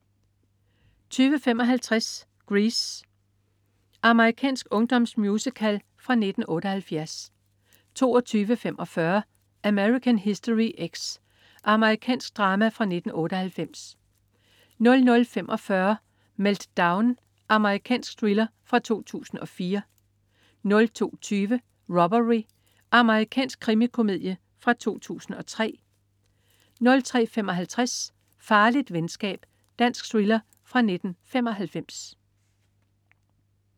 20.55 Grease. Amerikansk ungdomsmusical fra 1978 22.45 American History X. Amerikansk drama fra 1998 00.45 Meltdown. Amerikansk thriller fra 2004 02.20 Robbery. Amerikansk krimikomedie fra 2003 03.55 Farligt venskab. Dansk thriller fra 1995